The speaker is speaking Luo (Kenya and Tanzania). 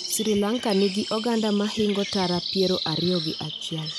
Sri Lanka nigi oganda mahingo tara piero ariyo gi achiel.